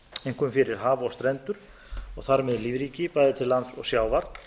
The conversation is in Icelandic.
einkum fyrir haf og strendur og þar með lífríki bæði til lands og sjávar